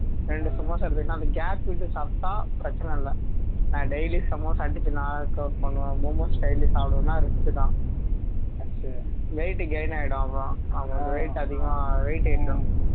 ரெண்டு சும்மா சாப்பிடணும்னா gap விட்டு சாப்பிட்டா பிரச்சினை இல்லை நான் daily சமோசா அடிச்சி நான் knock out பண்ணுவேன style சாப்பிடணும்னா risk தான் weight gain ஆகிடும் அப்பறம் weight அதிகமா weight ஏறிரும்